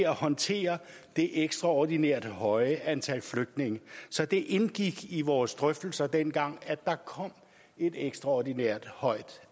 håndtere det ekstraordinært høje antal flygtninge så det indgik i vores drøftelser dengang at der kom et ekstraordinært højt